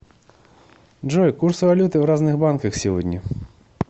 джой курс валюты в разных банках сегодня